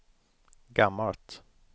gammalt